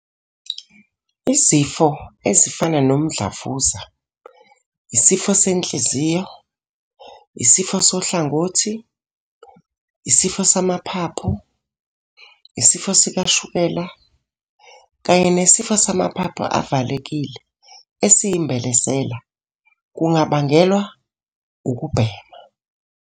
"Izifo ezifana nomdlavuza, isifo senhliziyo, isifo sohlangothi, isifo samaphaphu, isifo sikashukela kanye nesifo samaphaphu avalekile esiyimbelesela kungabangelwa ukubhema."